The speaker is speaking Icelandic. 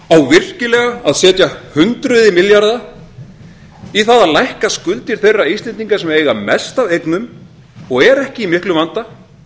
virkilega að setja hundruð milljarða í það að lækka skuldir þeirra íslendinga sem eiga mest af eignum og eru ekki í miklum vanda